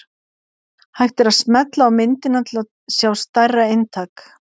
Hægt er að smella á myndina til að sjá stærra eintak.